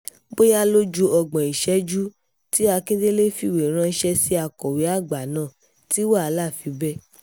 bóyá ló ju ọgbọ̀n ìṣẹ́jú tí akindélé fìwé ránṣẹ́ sí akọ̀wé àgbà náà tí wàhálà fi bẹ́